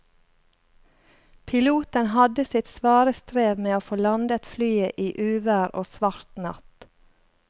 Piloten hadde sitt svare strev med å få landet flyet i uvær og svart natt.